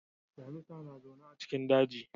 Damisa na zauna a cikin daji.